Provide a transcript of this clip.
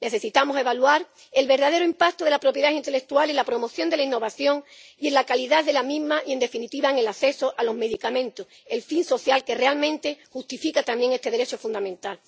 Necesitamos evaluar el verdadero impacto de la propiedad intelectual en la promoción de la innovación y en la calidad de la misma y, en definitiva, en el acceso a los medicamentos, el fin social que realmente justifica también este derecho fundamental.